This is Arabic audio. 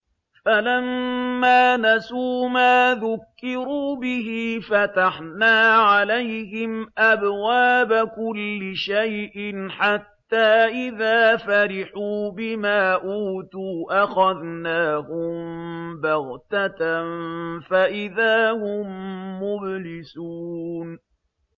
فَلَمَّا نَسُوا مَا ذُكِّرُوا بِهِ فَتَحْنَا عَلَيْهِمْ أَبْوَابَ كُلِّ شَيْءٍ حَتَّىٰ إِذَا فَرِحُوا بِمَا أُوتُوا أَخَذْنَاهُم بَغْتَةً فَإِذَا هُم مُّبْلِسُونَ